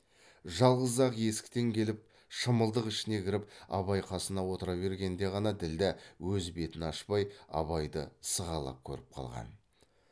жалғыз ақ есіктен келіп шымылдық ішіне кіріп абай қасына отыра бергенде ғана ділдә өз бетін ашпай абайды сығалап көріп қалған